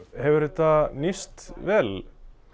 hefur þetta nýst vel